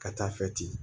Ka taa fɛ ten